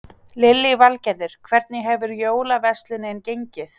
Lillý Valgerður: Hvernig hefur jólaverslunin gengið?